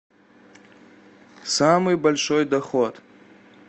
самый большой доход